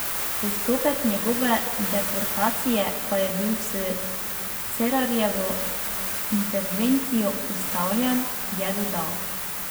Postopek njegove deportacije pa je bil s Cerarjevo intervencijo ustavljen, je dodal.